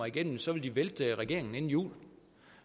igennem så vil de vælte regeringen inden jul